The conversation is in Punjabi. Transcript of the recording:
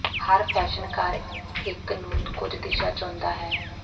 ਹਰ ਫੈਸ਼ਨ ਘਰ ਇੱਕ ਨੂੰ ਕੁਝ ਦਿਸ਼ਾ ਚੁਣਦਾ ਹੈ